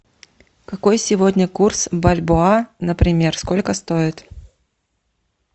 какой сегодня курс бальбоа например сколько стоит